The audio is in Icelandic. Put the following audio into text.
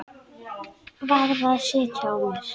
Varð að sitja á mér.